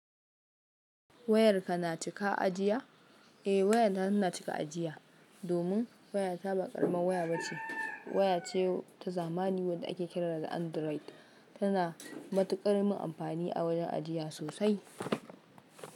Wayarka na cika ajiya? Eh wayana ina cika ajiya domin wayata ba ƙaraman waya ba ce. Waya ce ta zamani wadda ake kira da Android. Tana da matuƙar min amfani a wurin ajiya sosai.